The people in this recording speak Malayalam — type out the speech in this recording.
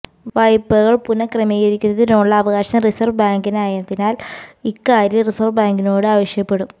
വായ്പകൾ പുനഃക്രമീകരിക്കുന്നതിനുള്ള അവകാശം റിസർവ് ബാങ്കിനായതിനാൽ ഇക്കാര്യവും റിസർവ് ബാങ്കിനോട് ആവശ്യപ്പെടും